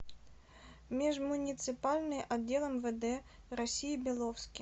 межмуниципальный отдел мвд россии беловский